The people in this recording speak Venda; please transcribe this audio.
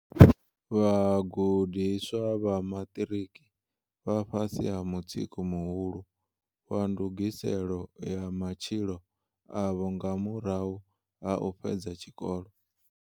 Vhagudiswa vha maṱiriki vha fhasi ha mutsiko muhulu wa ndugiselo ya matshilo avho nga murahu ha u fhedza tshikolo.